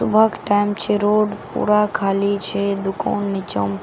सुबहक time छे road पूरा खाली छे। दुकान नीचा मे--